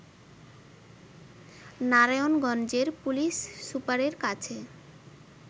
নারায়ণগঞ্জের পুলিশ সুপারের কাছে